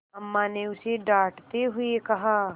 अम्मा ने उसे डाँटते हुए कहा